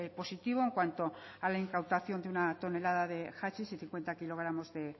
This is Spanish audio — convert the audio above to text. positivo en cuanto a la incautación de una tonelada de hachís y cincuenta kilogramos de